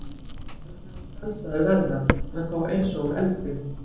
Sjálfur mun hann frelsaður verða, en þó eins og úr eldi.